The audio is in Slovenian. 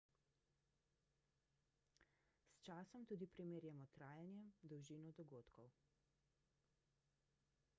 s časom tudi primerjamo trajanje dolžino dogodkov